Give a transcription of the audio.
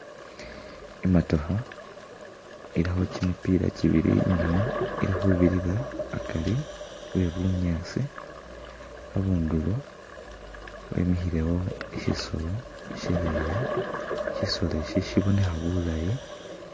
I'motokha ilikho kimipila kibili inyuuma ili khubirira akari we bunyaasi, abundulo wemikhilewo shisoolo ishaleya, shisolo isi sibonekha bulaayi.